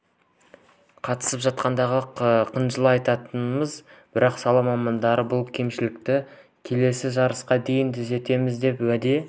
қатысып жатқандығын қынжыла айтамыз бірақ сала мамандары бұл кемшілікті келесі жарысқа дейін түзетеміз деп уәде